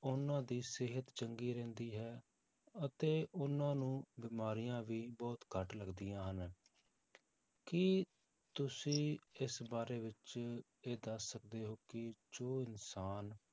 ਉਹਨਾਂ ਦੀ ਸਿਹਤ ਚੰਗੀ ਰਹਿੰਦੀ ਹੈ ਅਤੇ ਉਹਨਾਂ ਨੂੰ ਬਿਮਾਰੀਆਂ ਵੀ ਬਹੁਤ ਘੱਟ ਲੱਗਦੀਆਂ ਹਨ ਕੀ ਤੁਸੀਂ ਇਸ ਬਾਰੇ ਵਿੱਚ ਇਹ ਦੱਸ ਸਕਦੇ ਹੋ ਕਿ ਜੋ ਇਨਸਾਨ